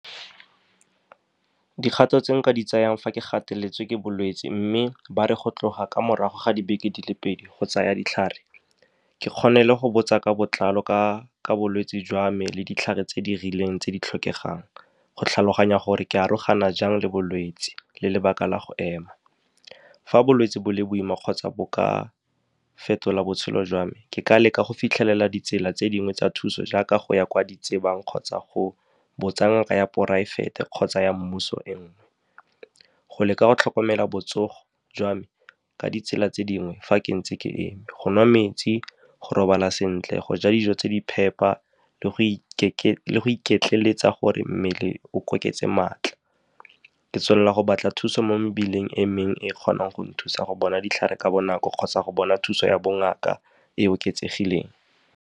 Dikgato tse nka di tsayang fa ke gateletswe ke bolwetse, mme ba re go tloga ko morago ga dibeke di le pedi, go tsaya ditlhare, ke kgone le go botsa ka botlalo ka bolwetse jwa me le ditlhare tse di rileng tse di tlhokegang, go tlhaloganya gore ke arogana jang le bolwetse le lebaka la go ema. Fa bolwetse bo le boima kgotsa bo ka fetola botshelo jwa me, ke ka leka go fitlhelela ditsela tse dingwe tsa thuso, jaaka go ya kwa di tsebang kgotsa go botsa ngaka ya poraefete kgotsa ya mmuso e nngwe, go leka go tlhokomela botsogo jwa me ka ditsela tse dingwe. Fa ke ntse ke eme, go nwa metsi, go robala sentle, go ja dijo tse di phepa le go iketleletsa gore mmele o maatla, ke tswelela go batla thuso mo mebileng e mengwe e kgonang go nthusa go bona ditlhare ka bonako kgotsa go bona thuso ya bongaka e e oketsegileng.